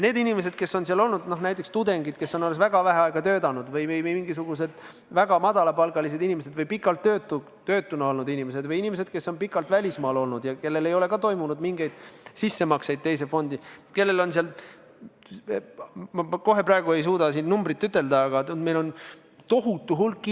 Neid inimesi, kellel on teises sambas vähe raha – näiteks tudengid, kes on alles väga vähe aega töötanud, või väga madala palgaga inimesed või pikalt töötud olnud inimesed või inimesed, kes on pikalt välismaal olnud ja kellel ei ole mingeid sissemakseid teise fondi tehtud –, ma kohe praegu ei suuda siin seda numbrit öelda, ent neid on tohutu hulk.